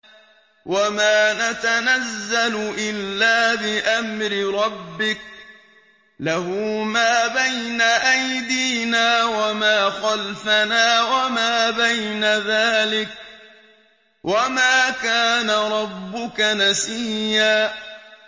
وَمَا نَتَنَزَّلُ إِلَّا بِأَمْرِ رَبِّكَ ۖ لَهُ مَا بَيْنَ أَيْدِينَا وَمَا خَلْفَنَا وَمَا بَيْنَ ذَٰلِكَ ۚ وَمَا كَانَ رَبُّكَ نَسِيًّا